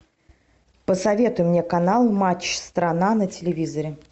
посоветуй мне канал матч страна на телевизоре